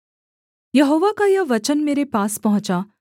यहोवा का यह वचन मेरे पास पहुँचा